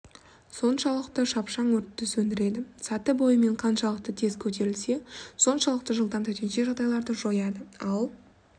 соншалықты шапшаң өртті сөндіреді саты бойымен қаншалықты тез көтерілсе соншалықты жылдам төтенше жағдайларды жояды ал